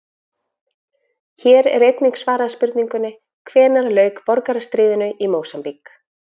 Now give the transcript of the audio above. Hér er einnig svarað spurningunni: Hvenær lauk borgarastríðinu í Mósambík?